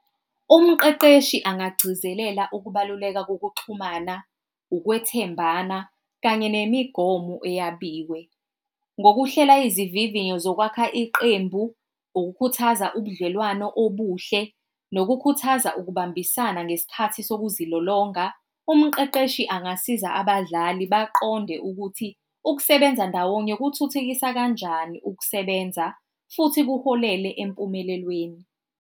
Umqeqeshi angagcizelela ukubaluleka kokuxhumana, ukwethembana kanye nemigomo eyabiwe ngokuhlela izivivinyo zokwakha iqembu, ukukhuthaza ubudlelwano obuhle, nokukhuthaza ukubambisana ngesikhathi sokuzilolonga. Umqeqeshi angasiza abadlali baqonde ukuthi ukusebenza ndawonye kuthuthukisa kanjani ukusebenza, futhi kuholele empumelelweni.